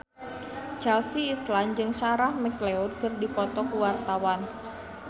Chelsea Islan jeung Sarah McLeod keur dipoto ku wartawan